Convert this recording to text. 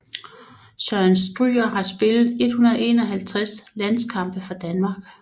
Søren Stryger har spillet 151 landskampe for Danmark